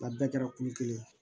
A bɛɛ kɛra kulu kelen ye